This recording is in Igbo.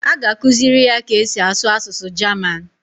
A ga-akụziri ya ka e si asụ asụsụ Jaman